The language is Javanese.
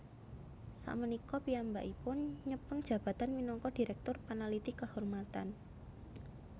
Sakmenika piyambakipun nyepeng jabatan minangka dirèktur panaliti kehormatan